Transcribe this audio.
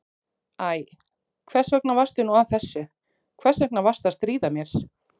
Æ, hvers vegna varstu nú að þessu, hvers vegna varstu að stríða mér?